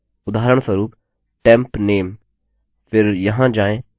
अन्यथा हमें ये टाइप करने पड़तेउदाहरणस्वरूप temp name